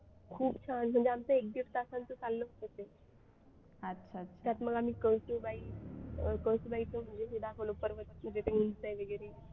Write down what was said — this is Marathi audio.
खूप छान म्हणजे आमचं एक दीड तासांचा चाललं होतं ते त्यात मग आम्ही कळसुबाई हे दाखवलं पर्वत वगैरे